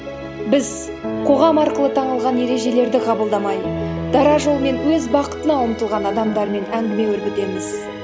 біз қоғам арқылы таңылған ережелерді қабылдамай дара жолмен өз бақытына ұмтылған адамдармен әңгіме өрбітеміз